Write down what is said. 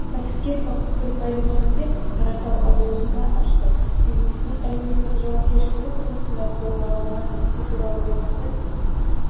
кәсіпкер бақытгүл баймұханбетова қаратал ауылында ашты бизнестің әлеуметтік жауапкершілігі тұрғысында қолға алған ісі туралы бақытгүл